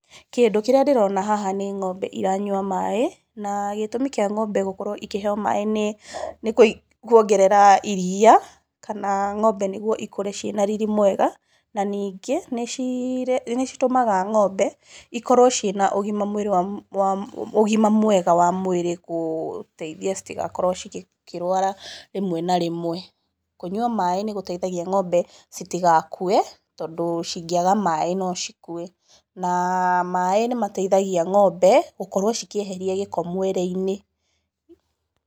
Kĩndũ kĩrĩa ndĩrona haha nĩ ng'ombe iranyua maaĩ, na gĩtũmi kĩa ng'ombe gũkorwo ikĩheo maaĩ nĩ kũongerera iria, kana ng'ombe nĩguo ikũre ciĩna riri mwega, na ningĩ, nĩ citũmaga ng'ombe ikorwo na ũgima mwega wa mwĩrĩ gũteithia citagakorwo cikĩrwara rĩmwe na rĩmwe. Kũnyua maaĩ nĩ gũteithagia ng'ombe citigakue, tondũ cingĩaga maaĩ no cikue. Na maaĩ nĩ mateithagia ng'ombe gũkorwo cikĩeheria gĩko mwĩrĩ-inĩ.